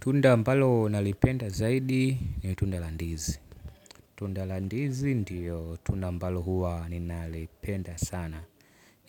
Tunda ambalo nalipenda zaidi ni tunda la ndizi. Tunda la ndizi ndio tunda ambalo huwa ninalipenda sana.